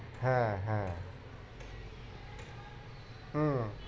হ্যাঁ হ্যাঁ হম